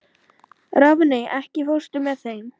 Rafney, ekki fórstu með þeim?